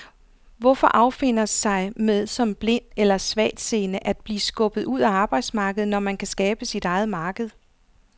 Hvorfor affinde sig med som blind eller svagtseende at blive skubbet ud af arbejdsmarkedet, når kan skabe sit eget marked?